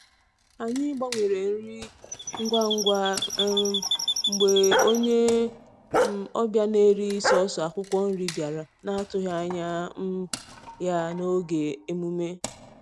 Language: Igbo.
Anyị gbanwere nri ngwa ngwa um mgbe onye um ọbịa na-eri sọọsọ akwụkwọ nri bịara na-atụghị anya um ya n’oge emume.